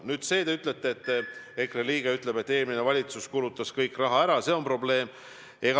Nüüd, te ütlete, et EKRE liige ütles, et eelmine valitsus kulutas kõik raha ära, et see on probleem.